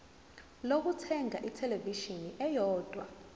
lokuthenga ithelevishini eyodwa